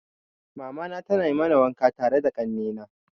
Mamana tana mana wanka tare da kanne na.